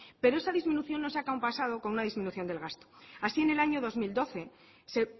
pero esa disminución no se ha descompasado con una disminución del gasto así en el año dos mil doce se